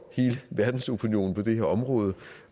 hele verdensopinionen på det her område